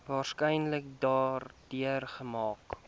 waarskynlik daardeur geraak